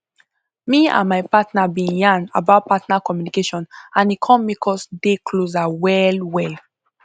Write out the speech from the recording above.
me and my partner been yan about partner communication and e come make us come dey closer well well